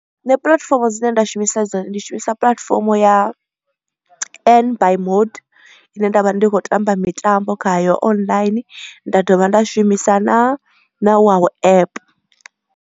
Nṋe puḽatifomo dzine nda shumisa dzo ndi shumisa puḽatifomo ya N by mode ine nda vha ndi kho tamba mitambo khayo online nda dovha nda shumisa na na wow app.